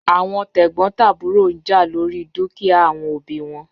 Awọn tegbotaburo n ja lori dukia awọn obi wọn